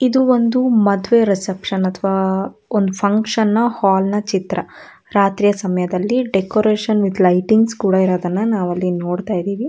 ಇದು ಒಂದು ಮದುವೆ ರಿಸೆಪ್ಶನ್ ಅಥವಾ ಅಹ್ ಒಂದು ಫ್ಯಾಂಗ್ಷನ್ ಹಾಲ್ ನ ಚಿತ್ರ ರಾತ್ರಿಯ ಸಮಯದಲ್ಲಿ ಡೆಕೋರೇಷನ್ ವಿಥ್ ಲೈಟಿಂಗ್ಸ್ ಕೂಡ ಅಲ್ಲಿ ಇರುವುದನ್ನ ನೋಡಬಹುದು